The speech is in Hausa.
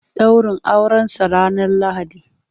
Ɗaurin Aurensa ranar Lahadi.